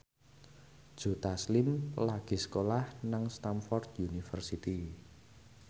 Joe Taslim lagi sekolah nang Stamford University